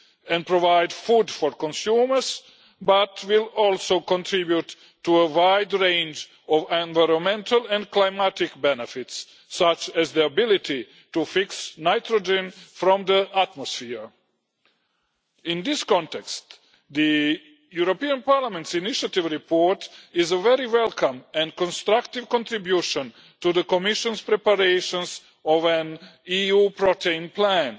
and provide food for consumers, but will also contribute to a wide range of environmental and climatic benefits, such as the ability to fix nitrogen from the atmosphere. In this context, the European Parliament's own initiative report is a very welcome and constructive contribution to the Commission's preparations of an EU protein plan,